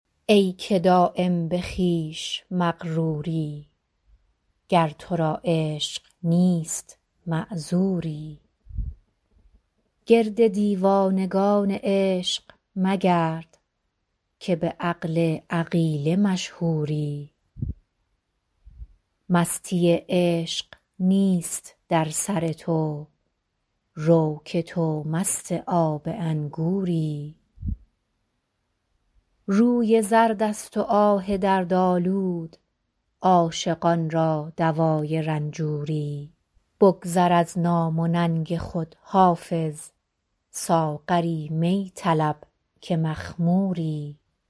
ای که دایم به خویش مغروری گر تو را عشق نیست معذوری گرد دیوانگان عشق مگرد که به عقل عقیله مشهوری مستی عشق نیست در سر تو رو که تو مست آب انگوری روی زرد است و آه دردآلود عاشقان را دوای رنجوری بگذر از نام و ننگ خود حافظ ساغر می طلب که مخموری